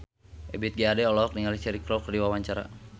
Ebith G. Ade olohok ningali Cheryl Crow keur diwawancara